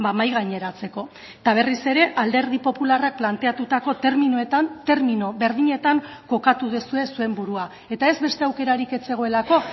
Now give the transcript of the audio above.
mahai gaineratzeko eta berriz ere alderdi popularrak planteatutako terminoetan termino berdinetan kokatu duzue zuen burua eta ez beste aukerarik ez zegoelako